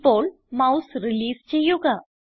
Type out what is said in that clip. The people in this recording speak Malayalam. ഇപ്പോൾ മൌസ് റിലീസ് ചെയ്യുക